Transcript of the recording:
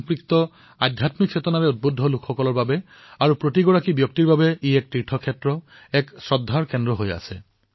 ৰাষ্ট্ৰভক্তি আধ্যাত্মিক চেতনা অনুভূত কৰা লোকসকলৰ বাবে এই স্থান তীৰ্থস্থান হিচাপে বিবেচিত হৈ আহিছে